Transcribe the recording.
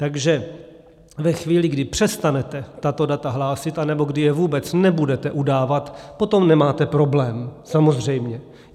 Takže ve chvíli, kdy přestanete tato data hlásit anebo kdy je vůbec nebudete udávat, potom nemáte problém, samozřejmě.